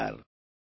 નમસ્કાર